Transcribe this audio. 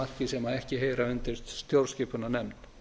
að því marki sem ekki heyra undir stjórnskipunarnefnd